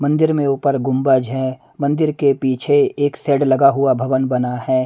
मंदिर में ऊपर गुंबज है मंदिर के पीछे एक सेड लगा हुआ भवन बना है।